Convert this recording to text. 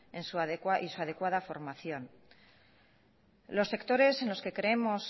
y su adecuada formación los sectores que creemos